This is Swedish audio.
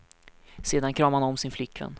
Sedan kramade han om sin flickvän.